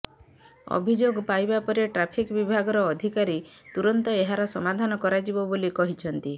ଅଭିଯୋଗ ପାଇବା ପରେ ଟ୍ରାଫିକ୍ ବିଭାଗର ଅଧିକାରୀ ତୁରନ୍ତ ଏହାର ସମାଧାନ କରାଯିବ ବୋଲି କହିଛନ୍ତି